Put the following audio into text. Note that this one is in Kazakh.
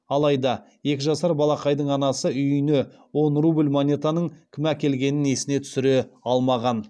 алайда екі жасар балақайдың анасы үйіне он рубль монетаның кім әкелгенін есіне түсіре алмаған